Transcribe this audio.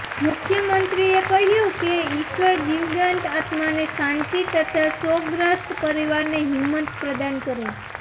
મુખ્યમંત્રીએ કહ્યું કે ઈશ્વર દિવંગત આત્માને શાંતિ તથા શોકગ્રસ્ત પરિવારને હિંમત પ્રદાન કરે